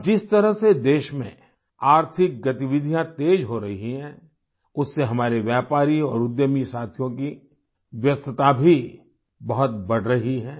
अब जिस तरह से देश में आर्थिक गतिविधियां तेज हो रही हैं उससे हमारे व्यापारी और उद्यमी साथियों की व्यस्तता भी बहुत बढ़ रही है